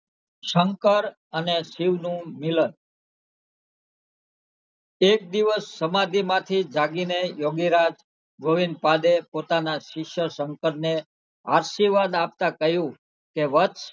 શંકર અને શિવ નું મિલન એક દિવસ સમાધિ માંથી જાગીને યોગીરાજ ગોવિંદ પાડે પોતાના શિષ્ય શંકર ને આશીર્વાદ આપતાં કહયુ કે વત્સ